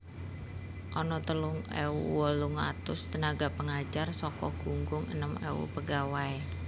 Ana telung ewu wolung atus tenaga pengajar saka gunggung enem ewu pegawai